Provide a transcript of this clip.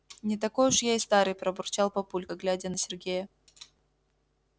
не такой уж я и старый пробурчал папулька глядя на сергея